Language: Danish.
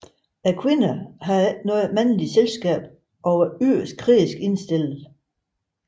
Kvinderne havde ikke noget mandligt selskab og var yderst krigerisk indstillede